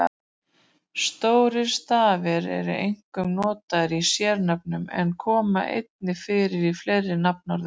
Stórir stafir eru einkum notaðir í sérnöfnum en koma einnig fyrir í fleiri nafnorðum.